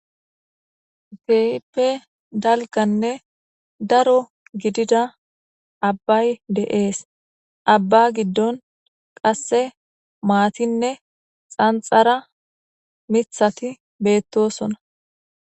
Keehipe dalganne daro gidida abbay de7ees abba giddon qasse maatinne xanxara mithati beettosona